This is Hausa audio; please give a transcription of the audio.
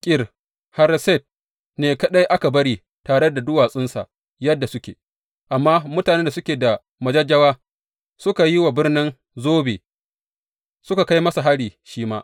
Kir Hareset ne kaɗai aka bari tare da duwatsunsa yadda suke, amma mutanen da suke da majajjawa suka yi wa birnin zobe, suka kai masa hari shi ma.